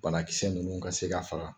Balakisɛ ninnu ka se ka faga